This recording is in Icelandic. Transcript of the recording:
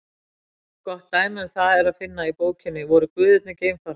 Gott dæmi um það er að finna í bókinni Voru guðirnir geimfarar?